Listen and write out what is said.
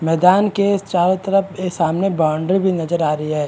मैदान के चारों तरफ के सामने बाउंड्री भी नजर आ रही है।